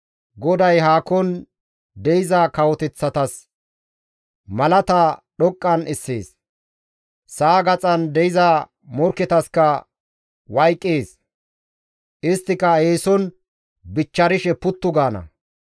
GODAY haakon de7iza kawoteththatas malaata dhoqqan essees; sa7a gaxan de7iza morkketaska wayqees; isttika eeson bichcharishe puttu gaana.